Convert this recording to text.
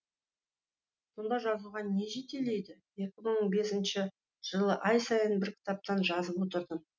сонда жазуға не жетелейді екі мың бесінші жылы ай сайын бір кітаптан жазып отырдым